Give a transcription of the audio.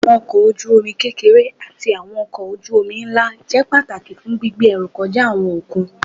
Àwọn ọkọ̀ ojú omi kékeré ati àwọn ọkọ̀ ojú omi ńlá jẹ́ pàtàkì fún gbígbé ẹrú kọjá àwọn okùn